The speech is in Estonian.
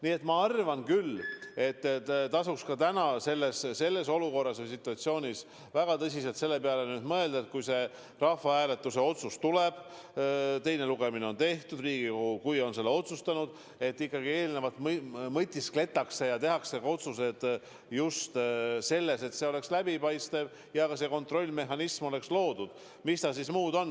Nii et ma arvan küll, et tasuks ka praeguses olukorras, praeguses situatsioonis väga tõsiselt selle peale mõelda, et kui see rahvahääletuse otsus tuleb, kui teine lugemine on tehtud ja Riigikogu on selle otsustanud, siis eelnevalt tuleb mõtiskleda, kuidas teha nii, et kõik oleks läbipaistev ja ka see kontrollmehhanism oleks loodud.